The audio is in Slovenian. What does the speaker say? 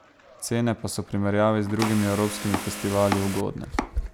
Cene pa so v primerjavi z drugimi evropskimi festivali ugodne.